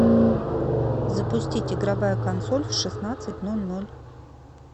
запустить игровая консоль в шестнадцать ноль ноль